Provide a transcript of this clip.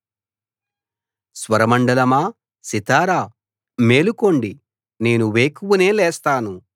స్వరమండలమా సితారా మేలు మేలుకోండి నేను వేకువనే లేస్తాను